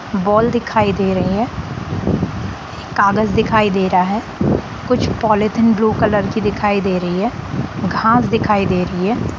Ball दिखाई दे रही है एक कागज दिखाई दे रहा है कुछ पॉलीथिन ब्लू कलर की दिखाई दे रही है घास दिखाई दे रही है।